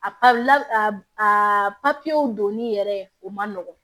A la a papiyew donni yɛrɛ o man nɔgɔn